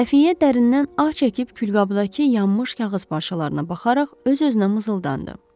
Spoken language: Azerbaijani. Xəfiyyə dərindən ah çəkib külqabdakı yanmış kağız parçalarına baxaraq öz-özünə mızıldandı.